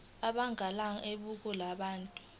abangamalunga eqembu labantu